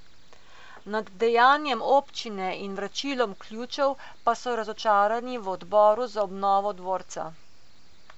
Nad dejanjem občine in vračilom ključev pa so razočarani v odboru za obnovo dvorca.